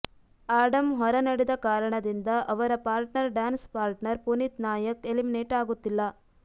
Adam ಹೊರ ನಡೆದ ಕಾರಣದಿಂದ ಅವರ partner dance partner Puneet Nayak eliminate ಆಗುತ್ತಿಲ್ಲ